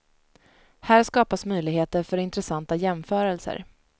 Här skapas möjligheter för intressanta jämförelser.